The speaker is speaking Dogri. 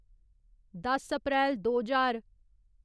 दस अप्रैल दो ज्हार